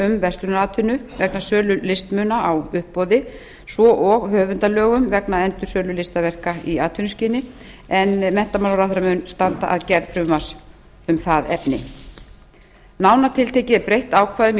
um verslunaratvinnu vegna sölu listmuna á uppboði svo og höfundalögum vegna endursölu listaverka í atvinnuskyni en menntamálaráðherra mun standa að gerð frumvarps um það efni nánar tiltekið er breytt ákvæðum í